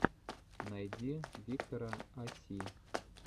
найди виктора а си